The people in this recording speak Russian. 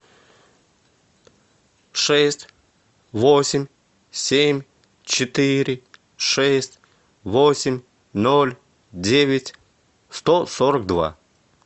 шесть восемь семь четыре шесть восемь ноль девять сто сорок два